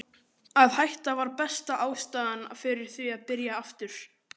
Ástheiður, hefur þú prófað nýja leikinn?